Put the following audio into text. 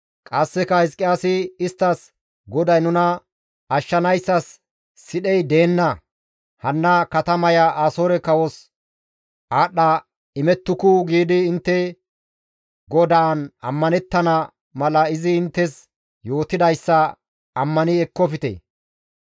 Qasseka Hizqiyaasi isttas, ‹GODAY nuna ashshanayssas sidhey deenna; hanna katamaya Asoore kawos aadhdha imettuku› giidi intte GODAAN ammanettana mala izi inttes yootidayssa ammani ekkofte.